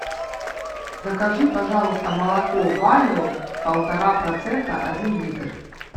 закажи пожалуйста молоко валио полтора процента один литр